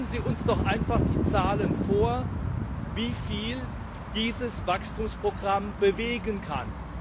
Legen Sie uns doch einfach die Zahlen vor, wie viel dieses Wachstumsprogramm bewegen kann.